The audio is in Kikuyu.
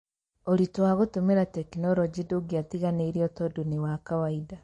Ũritu wa gũtũmira tekinoronjĩ ndũngĩatiganĩirio tondu nĩ wa kawaida.